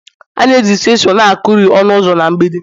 a na-eji chisel na-akuri ọnụ ụzọ na mgbidi